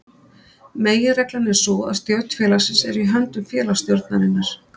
Meginreglan er sú að stjórn félagsins er í höndum félagsstjórnarinnar.